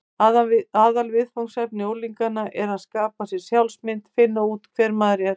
Aðalviðfangsefni unglingsáranna er að skapa sér sjálfsmynd: finna út hver maður er.